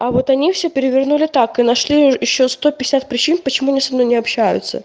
а вот они все перевернули так и нашли ещё сто пятьдесят причин почему они со мной не общаются